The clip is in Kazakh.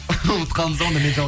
ұмытып қалдыңыз ба онда мен